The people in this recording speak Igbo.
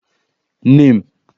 #NAME?